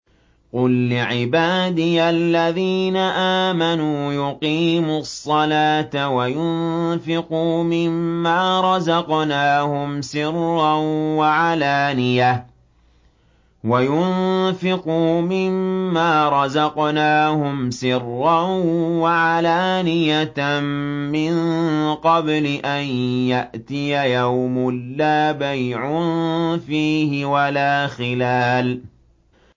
قُل لِّعِبَادِيَ الَّذِينَ آمَنُوا يُقِيمُوا الصَّلَاةَ وَيُنفِقُوا مِمَّا رَزَقْنَاهُمْ سِرًّا وَعَلَانِيَةً مِّن قَبْلِ أَن يَأْتِيَ يَوْمٌ لَّا بَيْعٌ فِيهِ وَلَا خِلَالٌ